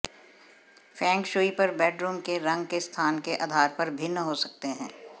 Feng shui पर bedroom के रंग के स्थान के आधार पर भिन्न हो सकते हैं